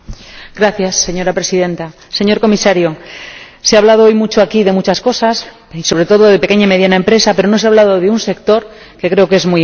Señora Presidenta, señor Comisario, se ha hablado hoy aquí de muchas cosas y, sobre todo, de pequeña y mediana empresa, pero no se ha hablado de un sector que creo que es muy importante.